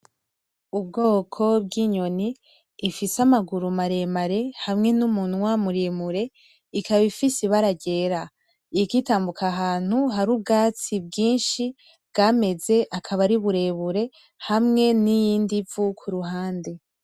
Ubwoko bw'inyoni ifise amaguru maremare hamwe n'umunwa muremure ikaba ifise ibara ryera. Iriko itambuka ahantu hari ubwatsi bwinshi bwameze, akaba ari burebure, hamwe n'iyindi vu ku ruhande.